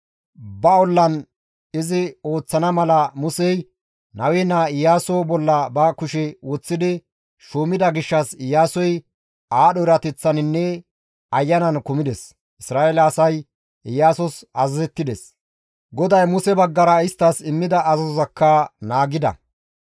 Ba ollan izi ooththana mala Musey Nawe naa Iyaaso bolla ba kushe woththidi shuumida gishshas Iyaasoy aadho erateththaninne ayanan kumides; Isra7eele asay Iyaasos azazettides; GODAY Muse baggara isttas immida azazozakka naagida.